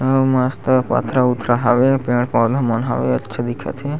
अऊ मस्त पथरा उथरा हवे पेड़-पौधा मन हवे अच्छा दिखत हे।